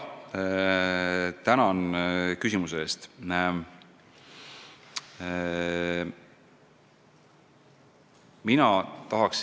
Tänan küsimuse eest!